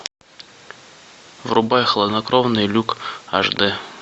врубай хладнокровный люк аш дэ